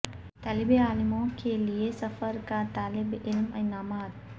طالب علموں کے لئے سفر کا طالب علم انعامات